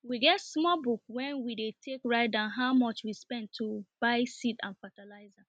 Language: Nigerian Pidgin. we get small book wen we take dey write down how much we spend to buyseeds and fatalizer